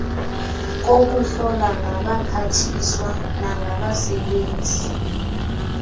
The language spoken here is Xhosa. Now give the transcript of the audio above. kokuhlola ngabaphathiswa nangabasebenzi